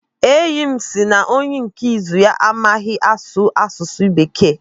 Enyi m sị na onye nkụzi ya amaghị asụ asụsụ Bekee.